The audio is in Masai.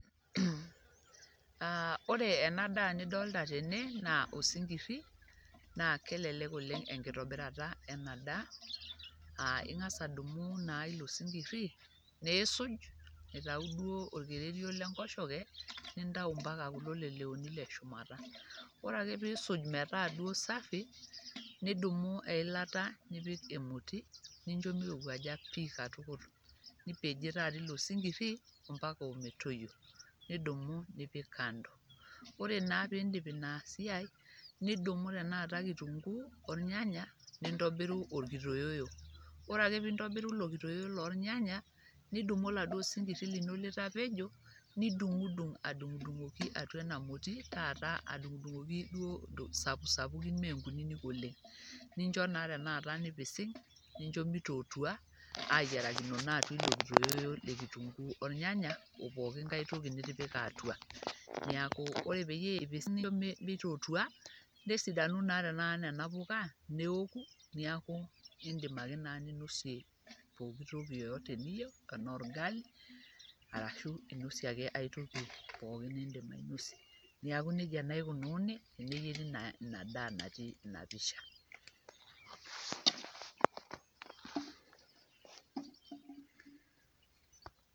Ore ena daa nidolta tene naa osinkiri naa kelelek oleng' enkitobirata ena daa aa ing'asa adung'u naa ilo sinkiri niisuj aitau duo orkererio le nkoshoke, nintau mpaka kulo leleoni le shumata. Ore ake piisuj metaa duo safi, nidumu eilata nipik emoti nincho mirowuaja pii katukul nipejie taata ilo sinkiri mpaka ometoyio nidumu nipik kando. Ore naa piindip ina siai, nidumu tenakata kitunguu ornyanyak, nintobiru orkitoyoyo. Ore ake piintobiru ilo kitoyoyo lornyanya, nidumu oladuo sinkiri lino litapejo nidung'dung' adung'dung'oki atua ena moti taata adung'dung'oki duo sapusapukin mee nkunyinyik oleng', nincho naa tenakata nipising' nincho mitotua ayiarakino naa atua ilo kitoyoyo le kitunguu ornyanya o pooki nkae toki nitipika atua. Neeku ore pee ipising' nincho metotua, nesidanu naa tenakata nena puka neoku, neaku indimi ake naa ninosie pooki toki yeyote niyeu, ena orgali arashu inosie ake ai toki pooki niindim ninosie. Neeku neija naa ikununi eneyeri ina daa natii ina pisha.